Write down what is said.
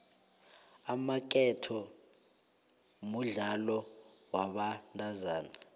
amaketo mudlalo wabentazana